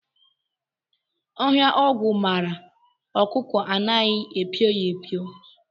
Ọhịa ogwu mara ọkụkọ anaghị epio ya epio